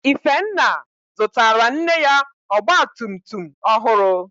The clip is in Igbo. Ifenna zụtara nne ya Ọgba tum tum ọhụrụ